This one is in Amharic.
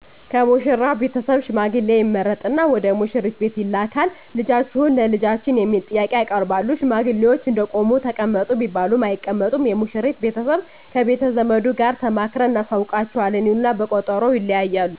ከሙሽራው ቤተሰብ ሽማግሌ ይመረጥና ወደሙሽሪት ቤት ይላካል ልጃችሁን ለልጃችን የሚል ጥያቄ ያቀርባሉ ሽማግሌዎች እንደቆሙ ተቀመጡ ቢባሉም አይቀመጡም የሙሽሪት ቤተሰብ ከቤተዘመዱ ጋር ተማክረን እናሳውቃችዋለን ይሉና በቀጠሮ ይለያያሉ